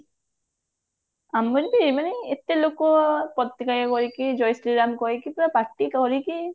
ଆମର ବି ମାନେ ଏତେ ଲୋକ ପତକା ଧରିକି ଜୟ ଶ୍ରୀରାମ କହିକି ପୁରା ପାଟି କରିକି